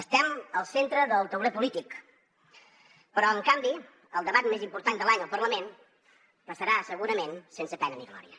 estem al centre del tauler polític però en canvi el debat més important de l’any al parlament passarà segurament sense pena ni glòria